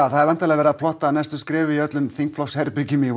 það er væntanlega verið að plotta næstu skref í öllum þingflokksherbergjum í